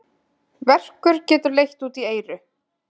Verkur getur leitt út í eyru.